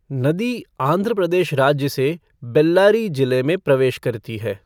नदी आंध्र प्रदेश राज्य से बेल्लारी जिले में प्रवेश करती है।